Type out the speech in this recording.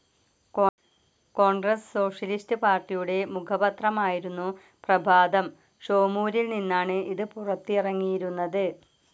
Congress socialist പാർട്ടിയുടെ മുഖപത്രമായിരുന്നു പ്രഭാതം. ഷോമൂരിൽ നിന്നാണ് ഇത് പുറത്തിറങ്ങിയിരുന്നത്.